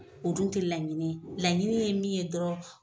o dun te laɲini ye, laɲini ye min ye dɔrɔn